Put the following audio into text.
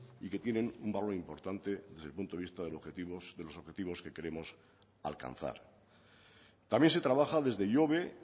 y que tienen un valor importante desde el punto de vista de los objetivos que queremos alcanzar también se trabaja desde ihobe